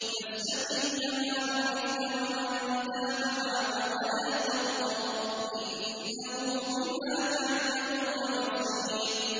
فَاسْتَقِمْ كَمَا أُمِرْتَ وَمَن تَابَ مَعَكَ وَلَا تَطْغَوْا ۚ إِنَّهُ بِمَا تَعْمَلُونَ بَصِيرٌ